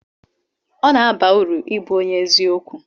ọ na-aba uru ịbụ onye eziokwu